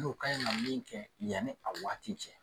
N'o ka ɲi ka min kɛ yanni a waati cɛ.